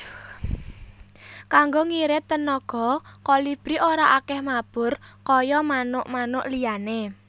Kanggo ngirit tenaga Kolibri ora akèh mabur kaya manuk manuk liyané